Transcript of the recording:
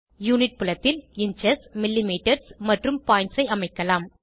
unit புலத்தில் inches millimetre மற்றும் points ஐ அமைக்கலாம்